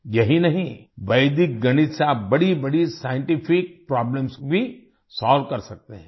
यही नहीं वैदिक गणित से आप बड़ीबड़ी साइंटिफिक प्रॉब्लम्स भी सोल्व कर सकते हैं